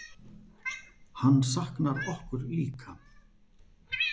Hann saknar okkur líka.